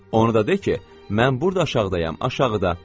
Onu da de ki, mən burda aşağıdayam, aşağıda.